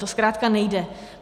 To zkrátka nejde.